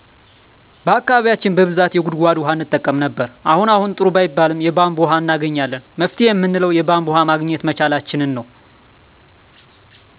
በአካባቢያችን በብዛት የጉድጎድ ውሀ እንጠቀም ነበር አሁን አሁን ጥሩ ባይባልም የቦንቦ ወሀ እናገኛለን መፍትሄ እምንለው የቦንቦ ወሀ ማግኘት መቻላችንን ነው